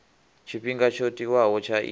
tshifhinga tsho tiwaho tsha iyi